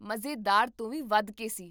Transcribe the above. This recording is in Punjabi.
ਮਜ਼ੇਦਾਰ ਤੋਂ ਵੀ ਵੱਧ ਕੇ ਸੀ!